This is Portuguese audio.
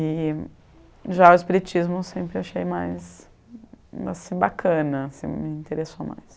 E já o espiritismo eu sempre achei mais mais bacana assim, me interessou mais.